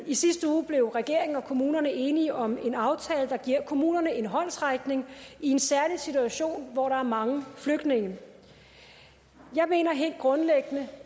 i sidste uge blev regeringen og kommunerne enige om en aftale der giver kommunerne en håndsrækning i en særlig situation hvor der er mange flygtninge jeg mener helt grundlæggende